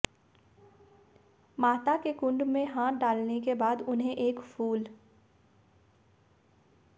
माता के कुंड में हाथ डालने के बाद उन्हें एक फूल